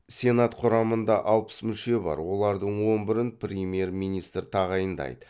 сенат құрамында алпыс мүше бар олардың он бірін премьер министр тағайындайды